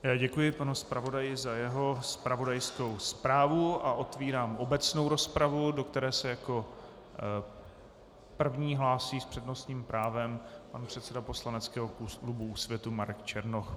Já děkuji panu zpravodaji za jeho zpravodajskou zprávu a otevírám obecnou rozpravu, do které se jako první hlásí s přednostním právem pan předseda poslaneckého klubu Úsvitu Marek Černoch.